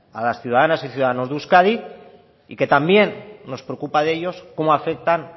a las ciudadanas y ciudadanos de euskadi y que también nos preocupa de ellos cómo afectan